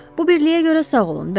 Bu birliyə görə sağ olun.